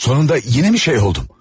Sonunda yenə mi şey oldum?